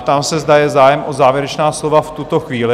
Ptám se, zda je zájem o závěrečná slova v tuto chvíli?